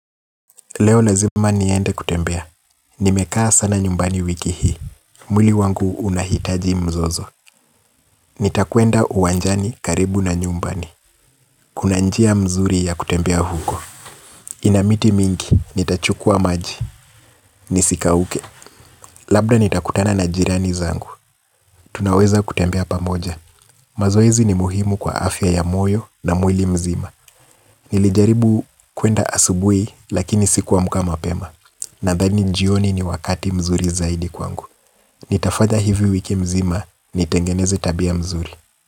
Leo lazima niende kutembea, nimekaa sana nyumbani wiki hii. Mwili wangu unahitaji mzozo. Nitakwenda uwanjani karibu na nyumbani. Kuna njia mzuri ya kutembea huko. Ina miti mingi, nitachukua maji, nisikauke. Labda nitakutana na jirani zangu, tunaweza kutembea pamoja. Mazoezi ni muhimu kwa afya ya moyo na mwili mzima. Nilijaribu kuenda asubuhi lakini siku amka mapema. Nadhani njio ni wakati mzuri zaidi kwangu. Nitafanya hivi wiki mzima nitengeneze tabia mzuri.